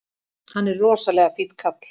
Hann er rosalega fínn kall!